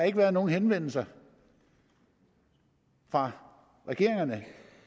ikke været nogen henvendelser fra regeringerne